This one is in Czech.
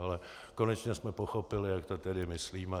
Ale konečně jsme pochopili, jak to tedy myslíme.